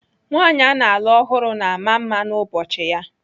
Nwaanyị ana alụ ọhụrụ na ama mma n'ụbọchị ya.